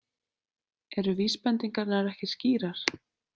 Eru vísbendingarnar ekki skýrar?